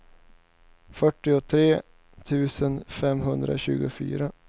fyrtiotre tusen femhundratjugofyra